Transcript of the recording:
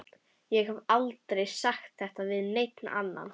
Ég hef aldrei sagt þetta við neina aðra.